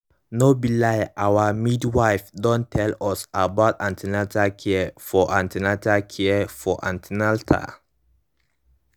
no be lie our midwife don tell us about an ten atal care for an ten atal care for an ten atal